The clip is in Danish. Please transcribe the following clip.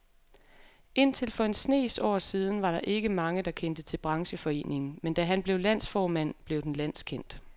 Indtil for en snes år siden var der ikke mange, der kendte til brancheforeningen, men da han blev landsformand, blev den landskendt.